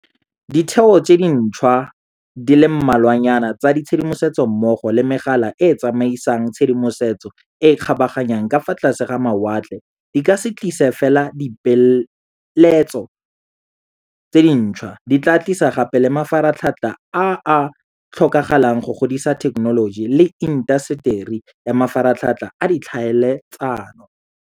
Ditheo tse dintšhwa di le mmalwanyana tsa tshedimosetso mmogo le megala e e tsamaisang tshedimosetso e e kgabaganyang ka fa tlase ga mawatle di ka se tlise fela dipeeletso tse dintšhwa, di tla tlisa gape le mafaratlhatlha a a tlhokagalang go godisa thekenoloji le intaseteri ya mafaratlhatlha a ditlhaele tsano.